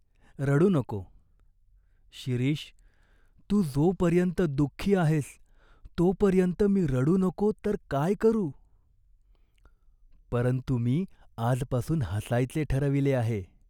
रडू नको." "शिरीष, तू जोपर्यंत दुःखी आहेस, तोपर्यंत मी रडू नको तर काय करू ?" "परंतु मी आजपासून हसायचे ठरविले आहे.